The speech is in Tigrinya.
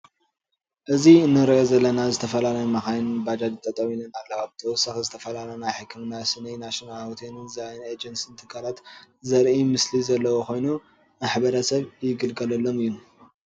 አዚ እንርኦ ዘለና ዝተፈላለዩ መካይን ባጃጅን ጠጠው አለን አለዎ። ብተወሳኪ ዝተፈላለዮ ናይ ሕክምና ስኒ ፣ናሽናል ሆቴል ዛየን እጅንስ ትካላት ዘሪኢ ምስሊዘለዎ ከይኑ ማሕበረሰብ ይግልገለሎም እዮም።